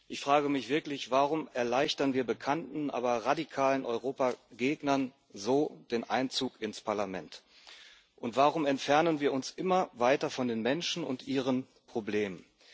Ich frage mich wirklich Warum erleichtern wir bekannten, aber radikalen Europagegnern so den Einzug ins Parlament, und warum entfernen wir uns immer weiter von den Menschen und ihren Problemen?